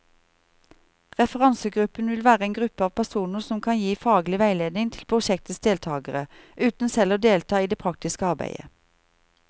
Referansegruppen vil være en gruppe av personer som kan gi faglig veiledning til prosjektets deltagere, uten selv å delta i det praktiske arbeidet.